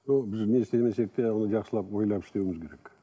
біз не істемесек те оны жақсылап ойлап істеуіміз керек